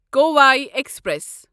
Kovai express